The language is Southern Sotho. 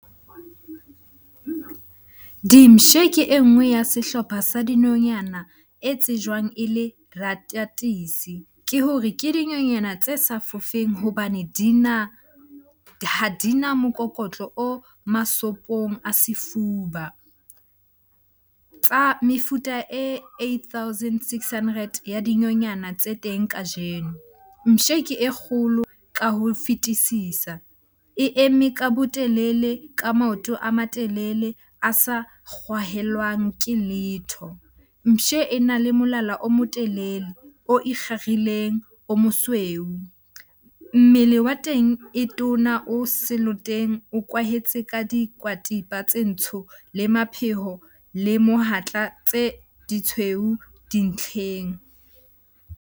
Dimpshe ke e nngwe ya sehlopha sa dinonyana e tsejwang e le . Ke hore ke dinonyana tse sa fofeng hobane di na, ha di na mokokotlo o masopong a sefuba. Tsa mefuta e eight thousand six hundred ya dinonyana tse teng kajeno, mpshe ke e kgolo ka ho fetisisa. E eme ka botelele, ka maoto a matelele a sa kgwahelwang ke letho. Mpshe e na le molala o motelele, o ikgarileng, o mosweu. Mmele wa teng e tona o seloteng o kwahetse ka tse ntsho, le mapheo le mohatla tse di tshweu dintlheng.